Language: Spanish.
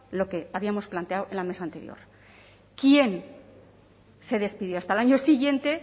lo que habíamos planteado en la mesa anterior quien se despidió hasta el año siguiente